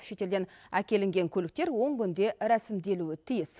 шетелден әкелінген көліктер он күнде рәсімделуі тиіс